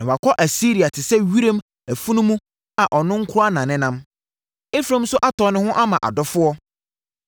Na wɔakɔ Asiria te sɛ wiram afunumu a ɔno nko ara nenam. Efraim nso atɔn ne ho ama adɔfoɔ.